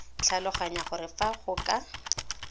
tlhaloganya gore fa go ka